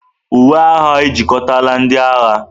Uwe agha ejikọtala ndị agha.